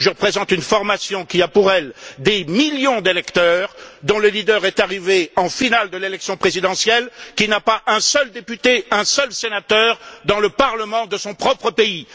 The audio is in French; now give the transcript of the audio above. Je représente une formation qui a pour elle des millions d'électeurs, dont le leader est arrivé en finale de l'élection présidentielle, qui n'a pas un seul député, un seul sénateur dans le parlement de son propre pays.